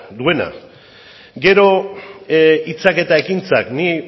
duena gero hitzak eta ekintzak